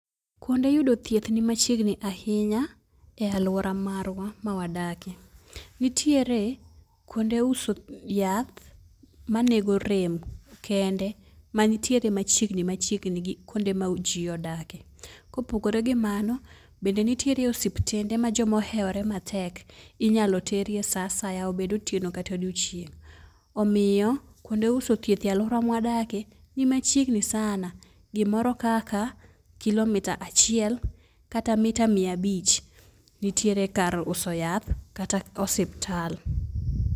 Kuonde yudo thieth ni machiegni ahinya e aluora mar ma wadakie. Nitiere kuonde uso yath ma nego rem kende ma nitiere machiegni machiegni gi kuonde ma ji odakie. Ko opogore gi mano bende nitiere osiptande ma jo ma ohewre matek inyalo ter e sa asaya obed otieno kata odiechieng. Omiyo kuonde uso thieth e aluora ma wadakie ni machiegni sana gi moro kaka kilomita achiel kata mita mia abich nitiere kar uso yath kata osiptal.